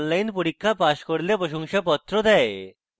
online পরীক্ষা pass করলে প্রশংসাপত্র দেয়